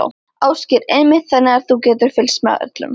Ásgeir: Einmitt, þannig að þú getur fylgst með öllum?